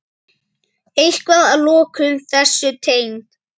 Eitthvað að lokum þessu tengt?